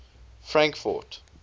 frankfort